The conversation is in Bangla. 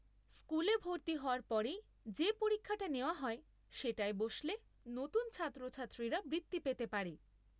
স্কুলে ভর্তি হওয়ার পরেই যে পরীক্ষাটা নেওয়া হয় সেটায় বসলে নতুন ছাত্রছাত্রীরা বৃত্তি পেতে পারে।